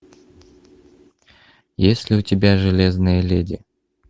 есть ли у тебя железная леди